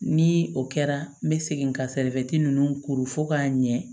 Ni o kɛra n bɛ segin ka ninnu koro fɔ k'a ɲɛ